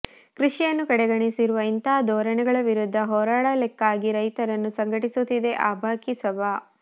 ಕೃಷಿಯನ್ನು ಕಡೆಗಣಿಸಿರುವ ಇಂತಹ ಧೋರಣೆಗಳ ವಿರುದ್ಧ ಹೋರಾಡಲಿಕ್ಕಾಗಿ ರೈತರನ್ನು ಸಂಘಟಿಸುತ್ತಿದೆ ಅಭಾಕಿ ಸಭಾ